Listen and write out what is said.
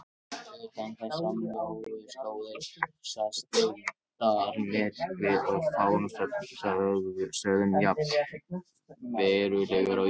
Utan þessarar mjóu slóðar sést deildarmyrkvi og á fáum stöðum jafn verulegur og á Íslandi.